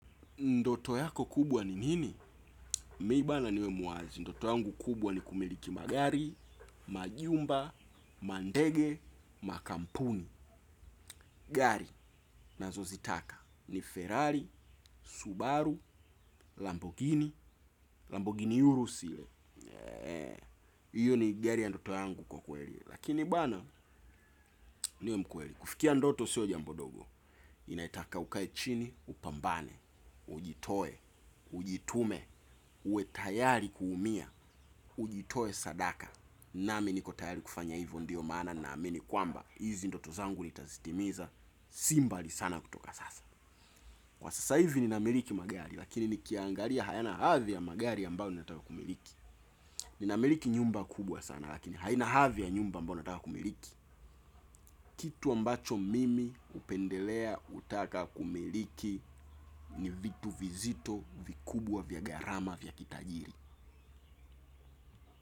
Ndoto yako kubwa ni nini? Miba na nime muwacha. Ndoto yangu kubwa ni kumiliki magari, majumba, mandege, makampuni, gari nazo zitaka. Ni Ferrari, Subaru, Lamborghini, Lamborghini Urusile. Iyo ni gari ya ndoto yangu kwa ukweli. Lakini bwana niwe mkweli. Kufikia ndoto sio jambo dogo. Inaitaka ukae chini upambane. Ujitoe. Ujitume. Uwe tayari kuumia. Ujitoe sadaka. Nami niko tayari kufanya hivo ndiyo maana naamini kwamba hizi ndoto zangu nitazitimiza. Si mbali sana kutoka sasa. Kwa sasa hivi ninamiliki magari. Lakini ni kiangalia hayana hadhi ya magari ambayo nataka kumiliki. Nina miliki nyumba kubwa sana lakini haina hadhi ya nyumba ambayo nataka kumiliki. Kitu ambacho mimi upendelea utaka kumiliki ni vitu vizito vikubwa vya gharama vya kitajiri.